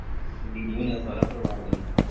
ਦੀਦੀ ਹੁਨਾਂ ਦਾ ਸਾਰਾ ਪਰਿਵਾਰ ਵਧੀਆ।